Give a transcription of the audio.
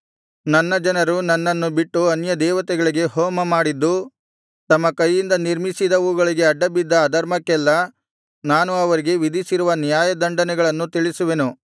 ನನ್ನ ಜನರು ನನ್ನನ್ನು ಬಿಟ್ಟು ಅನ್ಯದೇವತೆಗಳಿಗೆ ಹೋಮಮಾಡಿದ್ದು ತಮ್ಮ ಕೈಯಿಂದ ನಿರ್ಮಿಸಿದವುಗಳಿಗೆ ಅಡ್ಡಬಿದ್ದ ಅಧರ್ಮಕ್ಕೆಲ್ಲಾ ನಾನು ಅವರಿಗೆ ವಿಧಿಸಿರುವ ನ್ಯಾಯದಂಡನೆಗಳನ್ನು ತಿಳಿಸುವೆನು